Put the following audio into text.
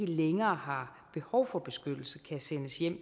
længere har behov for beskyttelse kan sendes hjem